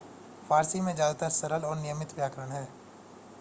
फारसी में ज्यादातर सरल और नियमित व्याकरण है